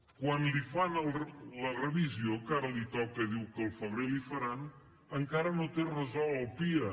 quan li fan la revisió que ara li toca diu que al febrer li faran encara no té resolt el pia